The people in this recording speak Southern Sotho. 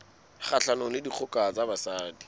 kgahlanong le dikgoka ho basadi